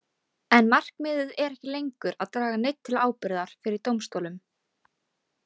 En markmiðið er ekki lengur að draga neinn til ábyrgðar fyrir dómstólum.